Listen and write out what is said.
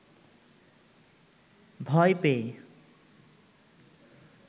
ভয় পেয়ে